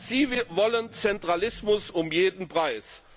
Sie wollen Zentralismus um jeden Preis!